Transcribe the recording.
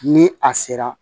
Ni a sera